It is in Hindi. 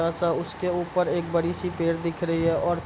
छोटा सा उसके ऊपर एक बड़ी सी पेड़ दिख रही है और --